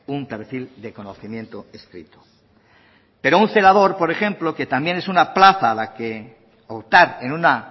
un perfil de conocimiento escrito pero un celador por ejemplo que también es una plaza a optar en una